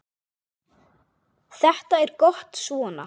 Þetta er gott svona.